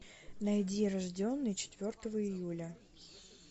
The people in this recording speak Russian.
найди рожденный четвертого июля